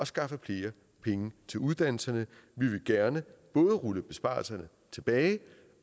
skaffe flere penge til uddannelserne vi vil gerne både rulle besparelserne tilbage